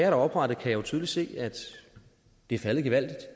er oprettet tydeligt se at det er faldet gevaldigt